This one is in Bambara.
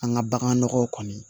An ka bagan nɔgɔ kɔni